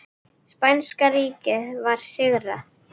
Spænska ríkið var sigrað.